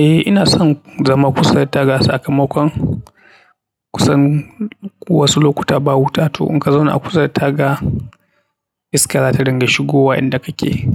Ehh ina son zama kusa da tara sakamakon kusan wasu lokuta ba wuta to in ka zauna a kusa da taga iska zata dinga shigowa inda kake.